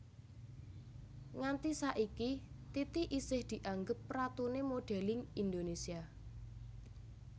Nganti saiki Titi isih dianggep ratuné modèlling Indonésia